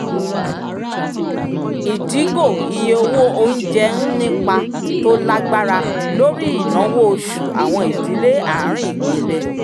ìdígò iye owó onjẹ ń nípa tó lágbára lórí ináwó oṣù àwọn ìdílé arin ìpele